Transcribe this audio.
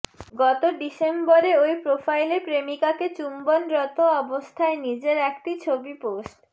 গত ডিসেম্বরে ওই প্রোফাইলে প্রেমিকাকে চুম্বনরত অবস্থায় নিজের একটি ছবি পোস্ট